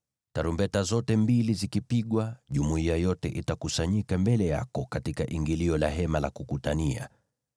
Tarumbeta zote mbili zikipigwa, jumuiya yote itakusanyika mbele yako katika ingilio la Hema la Kukutania.